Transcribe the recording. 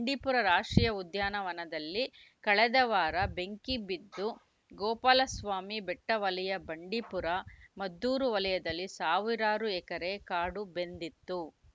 ಬಂಡೀಪುರ ರಾಷ್ಟ್ರೀಯ ಉದ್ಯಾನವನದಲ್ಲಿ ಕಳೆದ ವಾರ ಬೆಂಕಿ ಬಿದ್ದು ಗೋಪಾಲಸ್ವಾಮಿ ಬೆಟ್ಟವಲಯ ಬಂಡೀಪುರ ಮದ್ದೂರು ವಲಯದಲ್ಲಿ ಸಾವಿರಾರು ಎಕರೆ ಕಾಡು ಬೆಂದಿತ್ತು